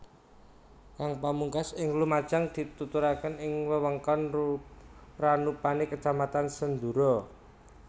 Kang pamungkas ing Lumajang dituturke ing wewengkon Ranupane kacamatan Senduro